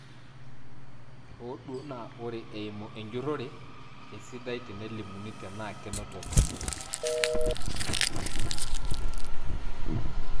Hoo duo naa ore eimu enjurore keisidai tenelimuni tenaa kenotoki.